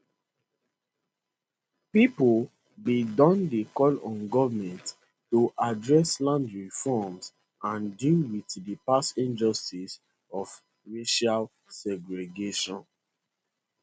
pipo bin don dey call on goment to address land reform and deal wit di past injustice of racial segregation